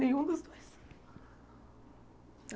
Nenhum dos dois.